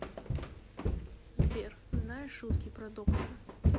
сбер знаешь шутки про доктора